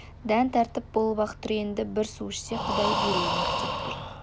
дән тартып болып-ақ тұр енді бір су ішсе құдай берейін-ақ деп тұр